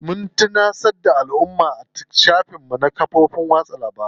Mun tunatar da alumma a shafukan mu na kafofin yaɗa labaru.